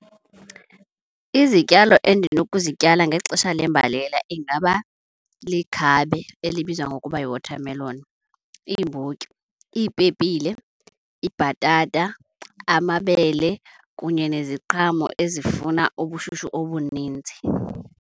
Izityalo endinokuzityala ngexesha lembalela ingaba likhabe elibizwa ngokuba yi-watermelon, iimbotyi, iipepile, ibhatata, amabele kunye neziqhamo ezifuna ubushushu obuninzi.